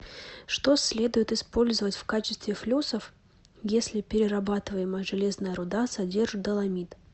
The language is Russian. что следует использовать в качестве флюсов если перерабатываемая железная руда содержит доломит